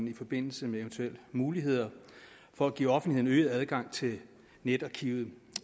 i forbindelse med eventuelle muligheder for at give offentligheden øget adgang til netarkivet